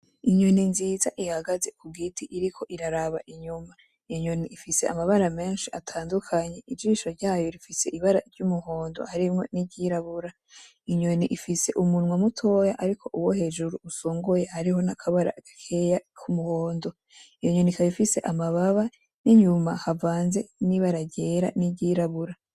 Inyoni nziza ihagaze ku giti iriko iraraba inyuma, inyoni ifise amabara menshi atandukanyi ijisho ryayo rifise ibara ry'umuhondo arimwo n'iryirabura inyoni ifise umunwa mutoya ariko uwo hejuru usongoye ariho n'akabara agakeye ku muhondo iyo nyonika bifise amababa n'inyuma havanze n'ibara ryera n'iryirabura.